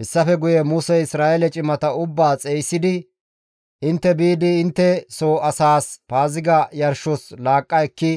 Hessafe guye Musey Isra7eele cimata ubbaa xeygisidi, «Intte biidi intte soo asaas Paaziga yarshos laaqqa ekki